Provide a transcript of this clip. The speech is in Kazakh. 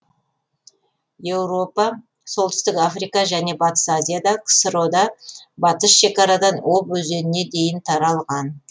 еуропа солтүстік африка және батыс азияда ксро де батыс шекарадан обь өзеніне дейін тарлған